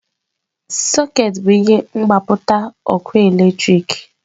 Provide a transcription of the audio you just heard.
Sọkeetị bụ ihe mgbapụta ọkụ eletrik.